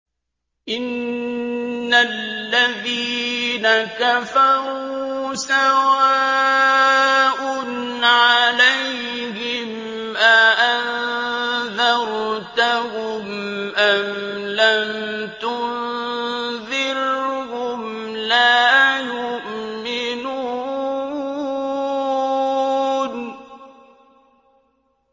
إِنَّ الَّذِينَ كَفَرُوا سَوَاءٌ عَلَيْهِمْ أَأَنذَرْتَهُمْ أَمْ لَمْ تُنذِرْهُمْ لَا يُؤْمِنُونَ